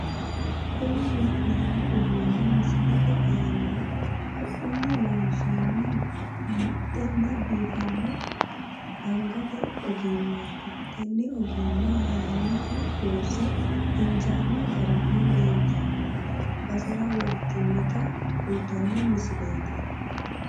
Kuni la'neemmo uduunni misilete aanihu haqqunni loonsoonni muxxenna biifanno angate ogimmaati tenne ogimma mannootu loosse injaanno garinni leeltanno basera wortinota kultanno misileeti.